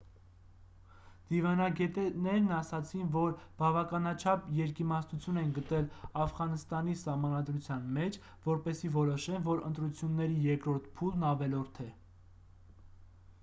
դիվանագետներն ասացին որ բավականաչափ երկիմաստություն են գտել աֆղանստանի սահմանադրության մեջ որպեսզի որոշեն որ ընտրությունների երկրորդ փուլն ավելորդ է